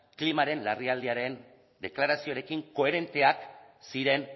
klimaren larrialdiaren deklarazioarekin koherenteak ziren